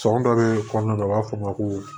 Sɔn dɔ bɛ kɔnɔna na u b'a fɔ ma ko